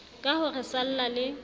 ka ho re salla le